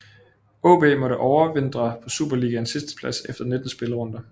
AaB måtte overvintre på Superligaens sidsteplads efter 19 spillerunder